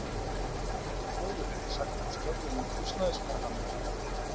Áður hef ég sagt frá störfum húsnæðismála- nefndarinnar.